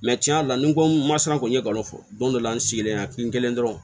tiɲɛ yɛrɛ la nin ko n ma san kɔni n ye n kalon fɔ don dɔ la n sigilen y'i kɛlen ye dɔrɔn